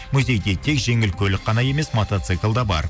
музейде тек жеңіл көлік қана емес мотоцикл де бар